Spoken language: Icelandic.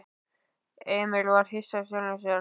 Emil var hissa á sjálfum sér.